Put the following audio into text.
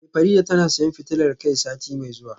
Eh Farida tana siyan fitilar kai sati mai zuwa